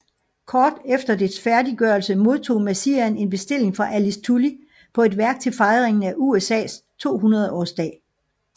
Kort efter dets færdiggørelse modtog Messiaen en bestilling fra Alice Tully på et værk til fejringen af USAs tohundredårsdag